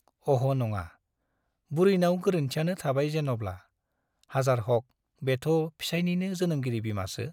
अह' नङा , बुरैनाव गोरोन्थियानो थाबाय जेना'ब्ला , हाजार हक बेथ' फिसायनिनो जोनोमगिरि बिमासो ।